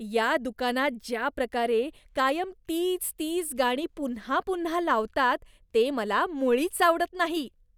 या दुकानात ज्या प्रकारे कायम तीच तीच गाणी पुन्हा पुन्हा लावतात, ते मला मुळीच आवडत नाही.